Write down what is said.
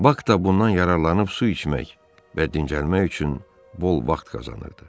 Bak da bundan yararlanıb su içmək və dincəlmək üçün bol vaxt qazanırdı.